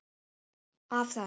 Af þess